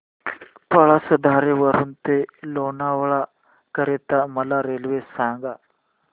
पळसधरी वरून ते लोणावळा करीता मला रेल्वे सांगा